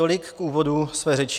Tolik k úvodu své řeči.